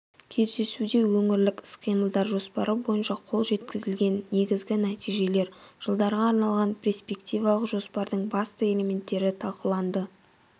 кездесуде өңірлік іс-қимылдар жоспары бойынша қол жеткізілген негізгі нәтижелер жылдарға арналған перспективалық жоспардың басты элементтері талқыланды